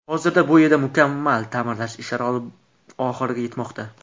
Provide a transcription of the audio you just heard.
Hozirda bu yerda mukammal ta’mirlash ishlari oxiriga yetmoqda.